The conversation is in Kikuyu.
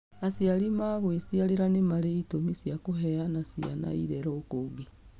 Aciarĩ mangwiciarĩra nĩ marĩ ĩtũmi cia kũheana ciana irerwo kũngĩ.